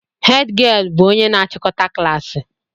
Hed gịel bụ onye na achikọta klaasị